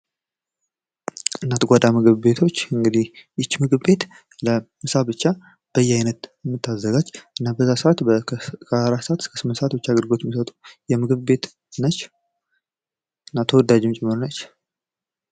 እናት ጓዳ ምግብ ቤቶች እንግዲህ ይቺ ምግብ ቤት ምሳ ብቻ በየአይነት የምታዘጋጅ እስከ አራት ሰዓት ብቻ አገልግሎት የሚሠጥ ተወዳጅ ምግብ የት ነች።